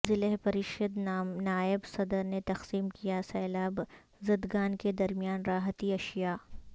ضلع پریشد نائب صدر نے تقسیم کیا سیلاب زدگان کے درمیان راحتی اشیاء